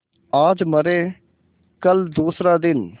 आज मरे कल दूसरा दिन